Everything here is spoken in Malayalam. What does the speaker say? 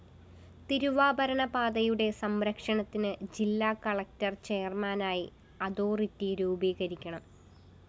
തിരുവാഭരണ പാതയുടെ സംരക്ഷണത്തിന് ജില്ലാ കളക്ടർ ചെയര്‍മാനായി അതോറിറ്റി രൂപീകരിക്കണം